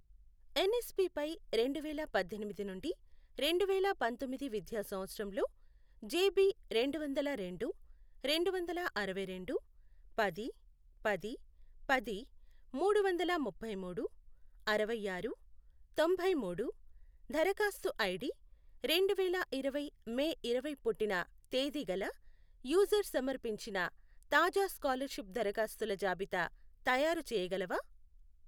NSP పై రెండువేల పద్దెనిమిది నుండి రెండువేల పంతొమ్మిది విద్యా సంవత్సరంలో జెబి రెండువందల రెండు, రెండువందల అరవైరెండు, పది, పది, పది, మూడువందల ముప్పైమూడు, అరవైఆరు, తొంభైమూడు, దరఖాస్తు ఐడి రెండువేల ఇరవై మే ఇరవై పుట్టిన తేది గల యూజర్ సమర్పించిన తాజా స్కాలర్షిప్ దరఖాస్తుల జాబితా తయారుచేయగలవా?